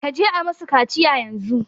Kaji a musu kaciya yanzu